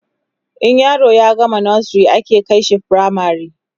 in yaro ya gama nursery ake kaishi firamare